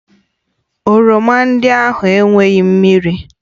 Oroma ndị ahụ enweghị mmiri